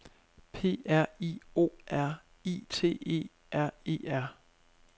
P R I O R I T E R E R